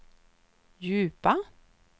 djupa